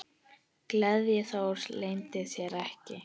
Gleði Þóris leyndi sér ekki.